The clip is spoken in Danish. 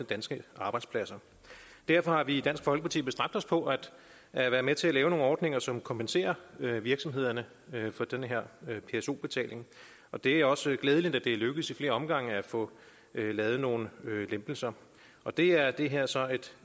danske arbejdspladser derfor har vi i dansk folkeparti bestræbt os på at være med til at lave nogle ordninger som kompenserer virksomhederne for denne pso betaling og det er også glædeligt at det er lykkedes i flere omgange at få lavet nogle lempelser det er det her så